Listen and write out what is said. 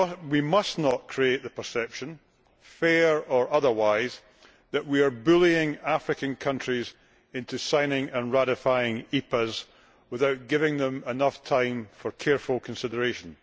We must not create the perception, fair or otherwise, that we are bullying African countries into signing and ratifying EPAs without giving them enough time for careful consideration.